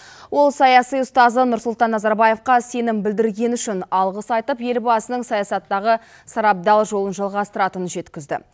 ол саяси ұстазы нұрсұлтан назарбаевқа сенім білдіргені үшін алғыс айтып елбасының саясаттағы сарабдал жолын жалғастыратынын жеткізді